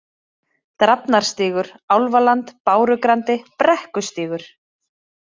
Drafnarstígur, Álfaland, Bárugrandi, Brekkustígur